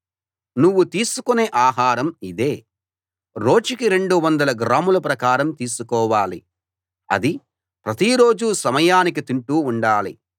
నువ్వు తీసుకునే ఆహారం ఇదే రోజుకి రెండు వందల గ్రాముల ప్రకారం తీసుకోవాలి అది ప్రతి రోజూ సమయానికి తింటూ ఉండాలి